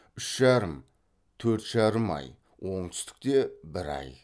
үш жарым төрт жарым ай оңтүстікте бір ай